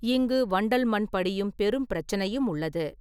இங்கு வண்டல் மண் படியும் பெரும் பிரச்சனையும் உள்ளது.